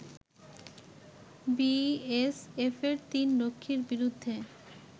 বিএসএফের তিন রক্ষীর বিরুদ্ধে